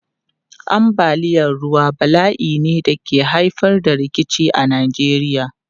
Ambaliyar ruwa bala'i ne da ke haifar da rikici a Najeriya.